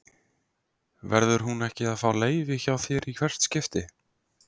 Verður hún ekki að fá leyfi hjá þér í hvert skipti?